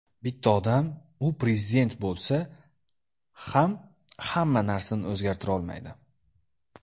Bitta odam, u Prezident bo‘lsa ham, hamma narsani o‘zgartirolmaydi.